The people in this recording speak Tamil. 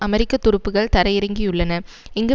அமெரிக்க துருப்புக்கள் தரையிறங்கியுள்ளன இங்கு